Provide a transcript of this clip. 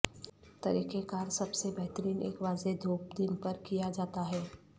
طریقہ کار سب سے بہترین ایک واضح دھوپ دن پر کیا جاتا ہے